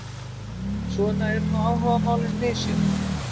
Svona eru nú áhugamálin misjöfn.